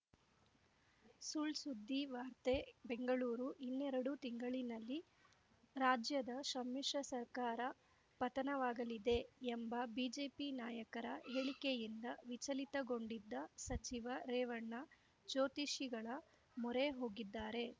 ಸುಳ್‌ಸುದ್ದಿ ವಾರ್ತೆ ಬೆಂಗಳೂರು ಇನ್ನೆರಡು ತಿಂಗಳಿನಲ್ಲಿ ರಾಜ್ಯದ ಸಮ್ಮಿಶ್ರ ಸರ್ಕಾರ ಪತನವಾಗಲಿದೆ ಎಂಬ ಬಿಜೆಪಿ ನಾಯಕರ ಹೇಳಿಕೆಯಿಂದ ವಿಚಲಿತಗೊಂಡಿದ್ದ ಸಚಿವ ರೇವಣ್ಣ ಜ್ಯೋತಿಷಿಗಳ ಮೊರೆ ಹೋಗಿದ್ದಾರೆ